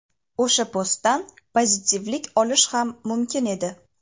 O‘sha postdan pozitivlik olish ham mumkin edi.